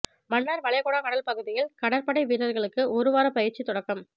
மன்னாா் வளைகுடா கடல் பகுதியில் கடற்படை வீரா்களுக்கு ஒரு வார பயிற்சி தொடக்கம்